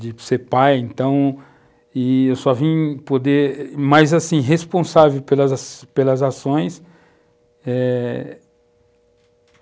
de ser pai, então, e eu só vim poder, mais assim, responsável pelas pelas ações.